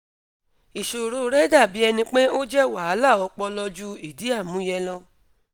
iṣoro rẹ dabi ẹni pe o jẹ wahala ọpọlọ ju idi amuye lọ